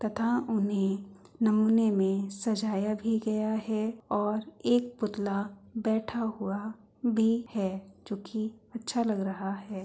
तथा उन्हें नमूने में सजाया भी गया है और एक पुतला बैठा हुआ भी है जो कि अच्छा लग रहा है।